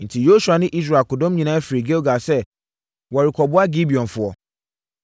Enti, Yosua ne Israel akodɔm nyinaa firii Gilgal sɛ wɔrekoboa Gibeonfoɔ.